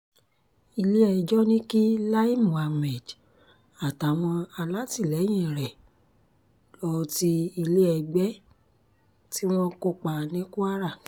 ilé-ẹjọ́ ní kí lai muhammed àtàwọn alátìlẹyìn rẹ̀ lọ́ọ́ ti ilé ẹgbẹ́ tí wọ́n kọ́ pa ní kwara